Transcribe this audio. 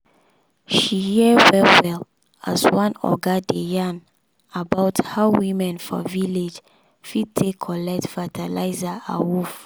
she hear well well as one oga dey yan about how women for village fit take collect fertilizer awoof.